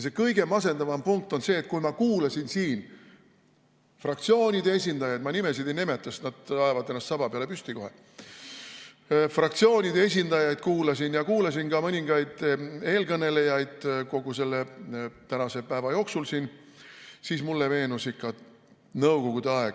See kõige masendavam punkt on see, et kui ma kuulasin siin fraktsioonide esindajaid – ma nimesid ei nimeta, sest nad ajavad ennast kohe saba peale püsti – ja kuulasin ka mõningaid eelkõnelejaid kogu selle tänase päeva jooksul, siis mulle meenus nõukogude aeg.